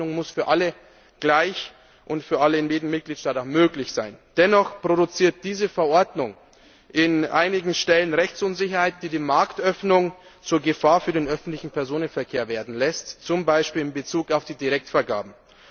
Marktöffnung muss für alle gleich und für alle in jedem Mitgliedstaat auch möglich sein. Dennoch produziert diese Verordnung an einigen Stellen Rechtsunsicherheit, die die Marktöffnung zur Gefahr für den öffentlichen Personenverkehr werden lässt, zum Beispiel in Bezug auf die Direktvergaben.